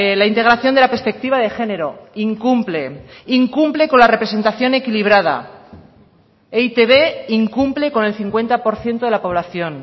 la integración de la perspectiva de género incumple incumple con la representación equilibrada e i te be incumple con el cincuenta por ciento de la población